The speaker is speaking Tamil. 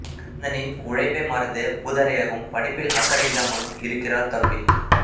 அண்ணனின் உழைப்பை மறந்து ஊதாரியாகவும் படிப்பில் அக்கறை இல்லாமலும் இருக்கிறார் தம்பி